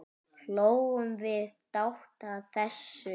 Hlógum við dátt að þessu.